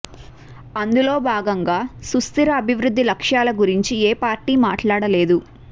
అందులో భాగంగా సుస్థిర అభివృద్ధి లక్ష్యాల గురించి ఏ పార్టీ మాట్లాడలేదు